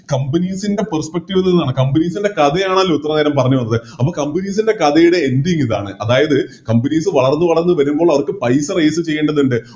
Companies ൻറെ Perspective എന്നുള്ളതാണ് Companies ൻറെ കഥയാണല്ലോ ഇത്രേം നേരം പറഞ്ഞു വന്നത് അപ്പൊ Companies ൻറെ കഥയുടെ Ending ഇതാണ് അതായത് Companies വളർന്ന് വളർന്ന് വരുമ്പോൾ അവർക്ക് പൈസ Raise ചെയ്യേണ്ടതുണ്ട്